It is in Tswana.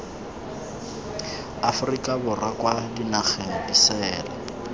aforika borwa kwa dinageng disele